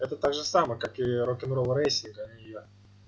это так же самое как и рок-н-ролл рейси да и я